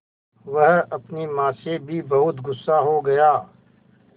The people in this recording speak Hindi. वह अपनी माँ से भी बहुत गु़स्सा हो गया